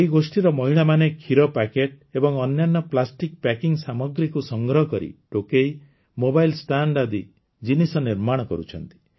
ଏହି ଗୋଷ୍ଠୀର ମହିଳାମାନେ କ୍ଷୀର ପ୍ୟାକେଟ ଏବଂ ଅନ୍ୟାନ୍ୟ ପ୍ଲାଷ୍ଟିକ୍ ପ୍ୟାକିଂ ସାମଗ୍ରୀକୁ ସଂଗ୍ରହ କରି ଟୋକେଇ ମୋବାଇଲ ଷ୍ଟାଣ୍ଡ ଆଜି ଜିନିଷ ନିର୍ମାଣ କରୁଛନ୍ତି